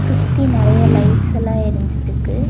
சுத்தி நெறைய லைட்ஸ் எல்லாம் எரிஞ்சிட்டு இருக்கு.